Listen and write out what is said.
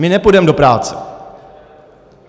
My nepůjdeme do práce.